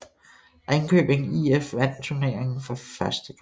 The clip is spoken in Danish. Ringkøbing IF vandt turneringen for første gang